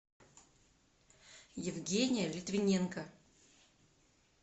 евгения литвиненко